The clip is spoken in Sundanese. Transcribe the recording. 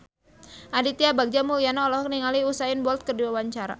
Aditya Bagja Mulyana olohok ningali Usain Bolt keur diwawancara